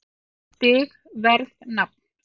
Stig Verð Nafn